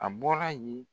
A bɔra yen